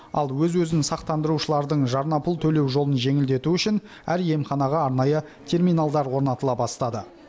ал өз өзін сақтандырушылардың жарнапұл төлеу жолын жеңілдету үшін әр емханаға арнайы терминалдар орнатыла бастады